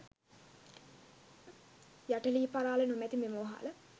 යට ලී පරාළ නොමැති මෙම වහල